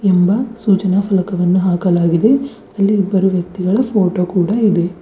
ಎಂಬ ಸೂಚನಾ ಫಲಕವನ್ನು ಹಾಕಲಾಗಿದೆ ಅಲ್ಲಿ ಇಬ್ಬರು ವ್ಯಕ್ತಿಗಳ ಫೋಟೋ ಕೂಡ ಇದೆ.